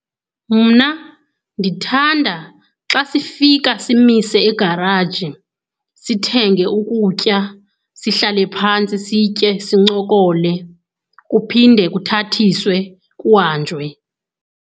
Mna ndithanda xa sifika simise egaraji sithenge ukutya. Sihlale phantsi sitye, sincokole kuphinde kuthathiswe kuhanjwe.